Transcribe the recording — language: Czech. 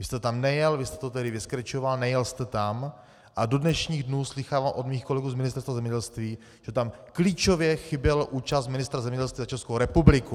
Vy jste tam nejel, vy jste to tedy vyskrečoval, nejel jste tam a do dnešních dnů slýchávám od mých kolegů z Ministerstva zemědělství, že tam klíčově chyběla účast ministra zemědělství za Českou republiku.